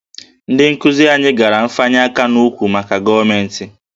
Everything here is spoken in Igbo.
Ndị nkuzi anyị gara nfanye aka n'ụkwụ maka gọọmentị